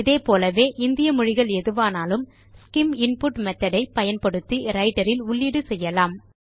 இதே போலவே இந்திய மொழிகள் எதுவானாலும் ஸ்சிம் இன்புட் மெத்தோட் யை பயன்படுத்தி ரைட்டர் இல் உள்ளீடு செய்யலாம்